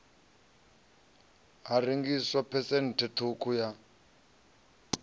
ha rengiswa phesenthe ṱhukhu ya